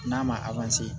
N'a ma